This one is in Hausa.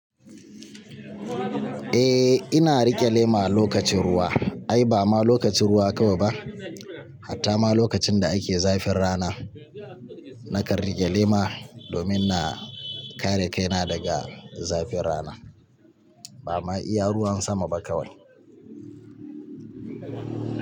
Eh ina riƙe lema lokacin ruwa, ai ba ma lokacin ruwa kawai ba hatta ma lokacin da ake zafin rana nakan riƙe lema domin na kare kaina daga zafin rana ba ma iya ruwan sama ba kawai.